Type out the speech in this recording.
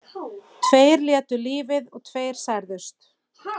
Tveir létu lífið og tveir særðust